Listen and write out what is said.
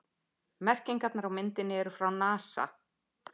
Merkingarnar á myndinni eru frá NASA.